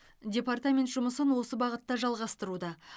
департамент жұмысын осы бағытта жалғастыруда